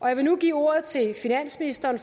jeg vil nu give ordet til finansministeren